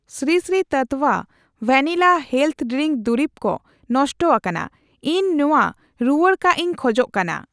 Shri Sri Tattva vanilla health drink ᱫᱩᱨᱤᱵᱽ ᱫᱚ ᱱᱚᱥᱴᱚ ᱟᱠᱟᱱᱟ, ᱤᱧ ᱱᱚᱣᱟ ᱨᱩᱣᱟᱹᱲ ᱠᱟᱜ ᱤᱧ ᱠᱷᱚᱡ ᱠᱟᱱᱟ ᱾